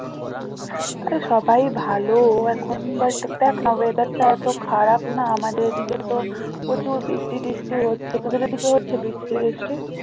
আর সবাই ভালো এখন but দ্যাখ না weather টা এতো খারাপ না আমাদের এদিকে তো প্রচুর বৃষ্টি ট্রিষ্টি হচ্ছে তোদের ওদিকে হচ্ছে বৃষ্টি ট্রিষ্টি?